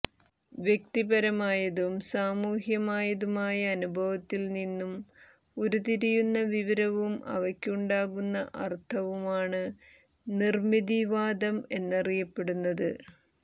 വ്യക്തിപരമായതും സാമൂഹ്യമായതുമായ അനുഭവത്തിൽനിന്നും ഉരുത്തിരിയുന്ന വിവരവും അവയ്ക്കുണ്ടാകുന്ന അർത്ഥവും ആണ് നിർമ്മിതിവാദം എന്നരിയപ്പെറ്റുന്നത്